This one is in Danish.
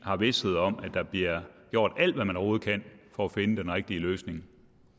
have vished om at der bliver gjort alt hvad man overhovedet kan for at finde den rigtige løsning